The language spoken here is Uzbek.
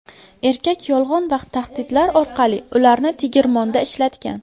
Erkak yolg‘on va tahdidlar orqali ularni tegirmonda ishlatgan.